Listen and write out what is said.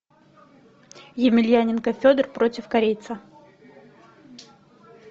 емельяненко федор против корейца